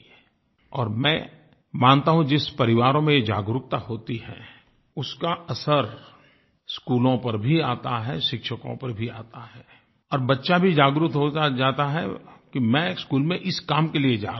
और मैं मानता हूँ जिन परिवारों में ये जागरूकता होती है उसका असर स्कूलों पर भी आता है शिक्षकों पर भी आता है और बच्चा भी जागरूक होता जाता है कि मैं स्कूल में इस काम के लिए जा रहा हूँ